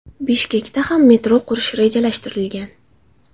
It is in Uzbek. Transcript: Bishkekda ham metro qurish rejalashtirilgan.